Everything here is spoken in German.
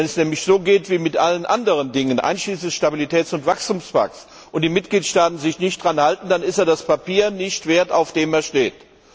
Wenn es nämlich so geht, wie mit allen anderen Dingen, einschließlich des Stabilitäts und Wachstumspakts, und die Mitgliedstaaten sich nicht daran halten, dann sind sie das Papier nicht wert, auf dem sie stehen.